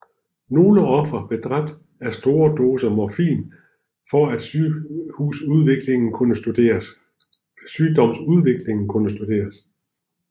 Nogle ofre blev dræbt af store doser morfin for at sygdomsudviklingen kunne studeres